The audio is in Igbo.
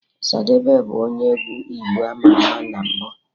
Ọsadebe bụ onye egwu igbo ama ama na mbụ